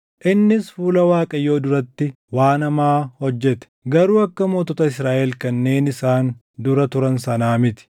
Innis fuula Waaqayyoo duratti waan hamaa hojjete; garuu akka mootota Israaʼel kanneen isaan dura turan sanaa miti.